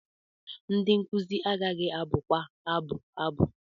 Ndị nkuzi agaghị abụkwa abụ abụ.